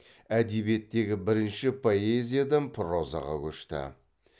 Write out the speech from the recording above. әдебиеттегі бірінші поэзиядан прозаға көшті